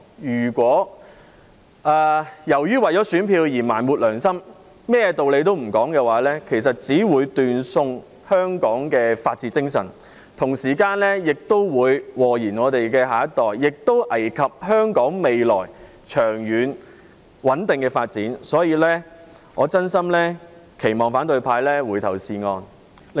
如果為了選票而埋沒良心，甚麼道理也不談，其實只會斷送香港的法治精神，同時亦會禍延下一代，危及香港未來長遠穩定的發展，所以，我真心期望反對派回頭是岸。